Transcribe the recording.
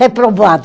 Reprovada.